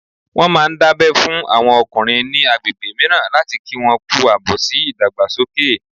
Wọ́n máà ń dábẹ́ fún àwọn ọkùnrin ní agbègbè mìíràn láti kí wọn kú àbọ̀ sí ìdàgbàsókè